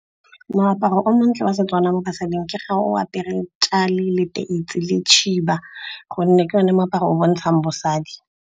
Moaparo o montle wa seTswana mo basading ke ga o apere , leteisi le tšhiba, gonne ke yone moaparo o o bontshang bosadi.